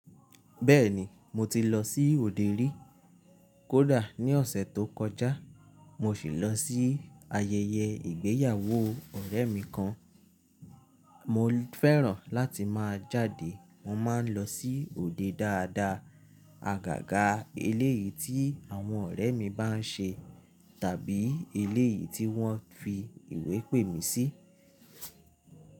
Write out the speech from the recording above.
Bẹ́ẹ̀ni, mo ti lọ sí òde rí. Kódà ní ọ̀sẹ̀ tó kọjá, mo sì lọ sí ayẹyẹ ìgbéyàwó ọ̀rẹ́ mi kan. Mo fẹ́ràn láti máa jáde. Mo máa ń lọ sí òde dáadáa, àgàgà eléyìí tí àwọn ọ̀rẹ́ mi bá ń ṣe tàbí eléyìí tí wọ́n fi ìwé pè mí sí.